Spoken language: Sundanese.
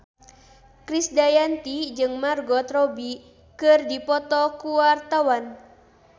Krisdayanti jeung Margot Robbie keur dipoto ku wartawan